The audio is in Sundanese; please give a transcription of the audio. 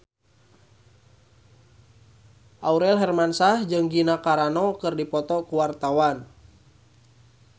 Aurel Hermansyah jeung Gina Carano keur dipoto ku wartawan